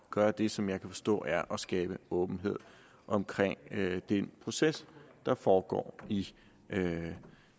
gøre det som jeg kan forstå er at skabe åbenhed omkring den proces der foregår i